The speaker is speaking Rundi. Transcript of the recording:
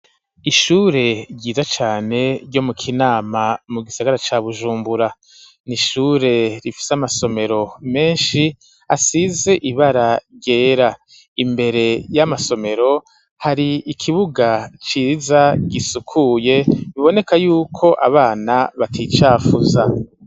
Ishure ryiza cane ryo mu Kinama mu gisagara ca Bujumbura. N'ishure rifise amasomero menshi asize ibara ryera, imbere y'amasomero hari ikibuga ciza gisukuye biboneka yuko abana baticafuza.